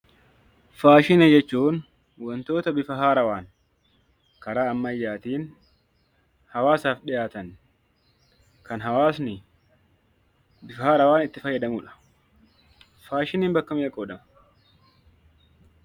Faashinii jechuun wantoota bifa haarawwaan Karaa ammayyaatiin hawwaasaaf dhiyaatan, kan hawwasni bifa haarawwaan itti fayyadamuudha. Faashiniin bakka meeqatti qoodama?